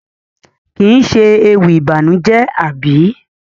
Kii ṣe ewì ìbànújẹ àbí?